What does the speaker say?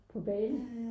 På Bali